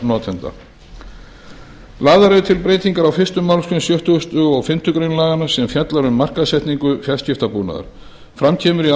notenda lagðar eru til breytingar á fyrstu málsgrein sextugustu og fimmtu grein laganna sem fjallar um markaðssetningu fjarskiptabúnaðar fram kemur í ákvæðinu